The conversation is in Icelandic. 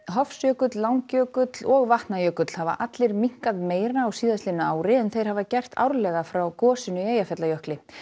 Hofsjökull Langjökull og Vatnajökull hafa allir minnkað meira á síðastliðnu ári en þeir hafa gert árlega frá gosinu í Eyjafjallajökli